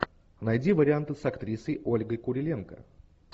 найди варианты с актрисой ольгой куриленко